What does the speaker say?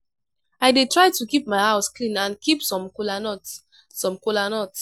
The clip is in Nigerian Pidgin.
i dey try to keep my house clean and keep some kola nut. some kola nut.